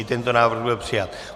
I tento návrh byl přijat.